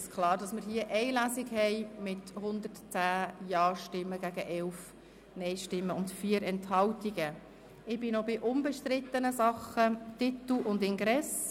Somit ist mit 110 Ja- gegen 11 Nein-Stimmen bei 4 Enthaltungen klar, dass wir nur eine Lesung durchführen.